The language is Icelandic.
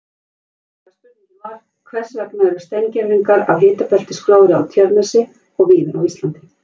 Upprunalega spurningin var: Hvers vegna eru steingervingar af hitabeltisgróðri á Tjörnesi og víðar á Íslandi?